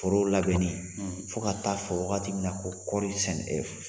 Foro labɛnnen fo ka ta'a fɔ wagati min na ko kɔɔri sɛn